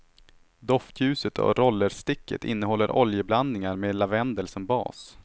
Doftljuset och rollersticket innehåller oljeblandningar med lavendel som bas.